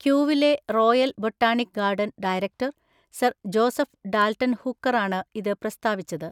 ക്യൂവിലെ royal botanic garden director sir Joseph Dalton ഹൂക്കറാണ് ഇത് പ്രസ്താവിച്ചത്.